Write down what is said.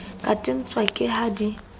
ka tenwa ke ha di